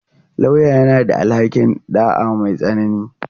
Lauyan yana da alhaƙin ɗa'a mai tsanani.